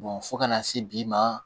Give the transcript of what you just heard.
fo kana se bi ma